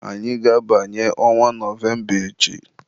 Anyị ga-abanye ọnwa Nọvemba echi.